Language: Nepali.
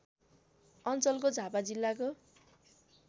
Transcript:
अञ्चलको झापा जिल्लाको